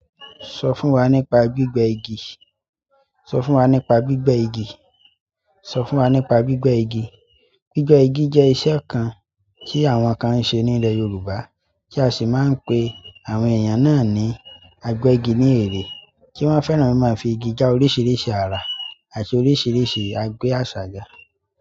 Sọ fún wa nípa gbígbẹ́ igi. Sọ fún wa nípa gbígbẹ́ igi. Sọ fún wa nípa gbígbẹ́ igi. Gbígbẹ́ igi jẹ́ ìṣe kan tí àwọn kan ń ṣe ní ilẹ̀ Yorùbá, tí a sì máa ń pè àwọn èèyàn náà ní agbẹ́gi ní èrè, tí wọ́n fẹ́ràn mi máa fí igi dá oríṣiríṣi àrà àti oríṣiríṣi agbé àṣá gà.